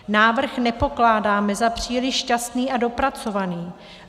Návrh nepokládáme za příliš šťastný a dopracovaný.